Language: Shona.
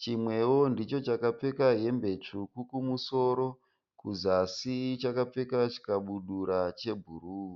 chimwewo ndicho chakapfeka hembe tsvuku kumusoro kuzasi chakapfeka chikabudura chebhuruu.